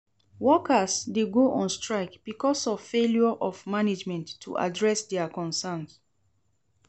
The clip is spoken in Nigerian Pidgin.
Workers dey go on strike because of failure of management to address dia concerns.